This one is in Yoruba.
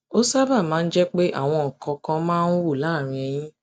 ó sábà máa ń jẹ pé àwọn nǹkan kan máa ń wú láàárín eyín